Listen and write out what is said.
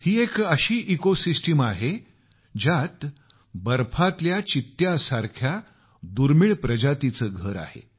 ही एक अशी ecosystem आहे ज्यात हिमबिबट्या सारख्या दुर्मिळ प्रजातींचे घर आहे